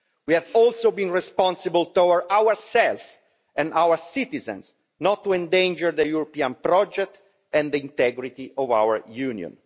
We have also been responsible towards ourselves and our citizens not to endanger the European project and the integrity of our Union.